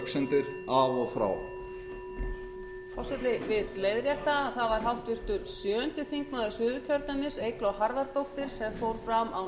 forseti vill leiðrétta að það var háttvirtur sjöundi þingmaður suðurkjördæmis eygló harðardóttir sem fór fram á